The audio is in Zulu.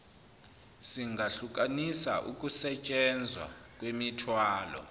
singahlukanisa ukusentshenzwa kwemithwalo